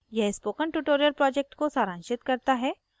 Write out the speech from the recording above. यह spoken tutorial project को सारांशित करता है